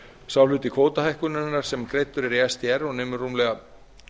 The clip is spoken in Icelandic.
sá hluti kvótahækkunarinnar sem greiddur er í sdr og nemur rúmlega